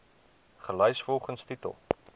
gelys volgens titel